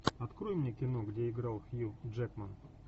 открой мне кино где играл хью джекман